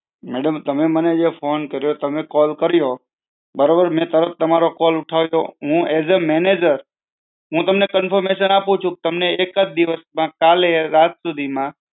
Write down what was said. madam તમે મને જે phone કર્યો તમે call કર્યો, બરોબર? મેં તમારો call ઉઠાવ્યો, હું એસ અ manager હું તમને confirmation આપું છું તમને એક જ દિવસ માં કાલે રાત સુધી માં